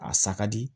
A sa ka di